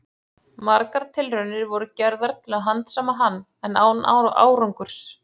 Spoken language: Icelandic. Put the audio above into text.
Margar tilraunir voru gerðar til að handsama hann, en án árangurs.